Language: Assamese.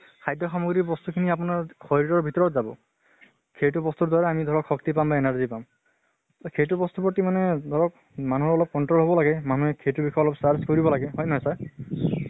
খাদ্য় সামগ্ৰিৰ বস্তু খিনি আপোনাৰ শৰিৰৰ ভিতৰত যাব। সেইটো বস্তুৰ দ্বাৰা আমাৰ শক্তি পাম বা energy পাম । সেইটো বস্তুৰ প্ৰতি মা-নে ধৰক মানুহৰ অলপ control হব লাগে, মানুহে সেইটো বিষয়ে অলপ search কৰিব লাগে। হয়নে নহয় sir?